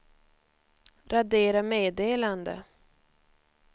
radera meddelande